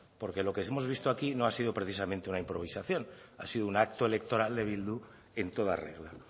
porque lo que hemos sí vistos aquí no ha sido precisamente un improvisación ha sido un acto electoral de bildu en toda regla